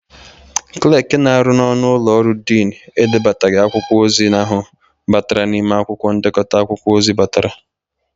Klakị na-arụ n'ọnụ ụlọ ọrụ dịnị edebaghị akwụkwọ ozi ahụ batara n'ime akwụkwọ ndekọta akwụkwọ ozi batara.